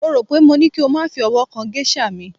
mo ro pe mo ní kí o ma fi ọwọ kan geisha mi